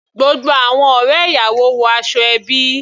Gbogbo àwọn ọ̀rẹ́ ìyàwó wọ aṣọ ẹbí.